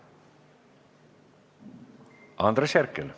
Andres Herkel.